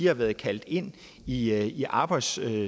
har været kaldt ind i i arbejdssammenhænge